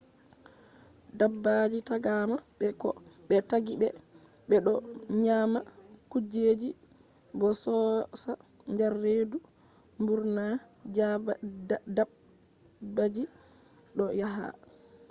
dabbaaji taagama be ko be taggi be be do nyama kujeji bo yoosa der redu .mburna dabbaji do yahaa